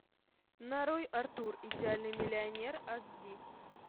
нарой артур идеальный миллионер ас ди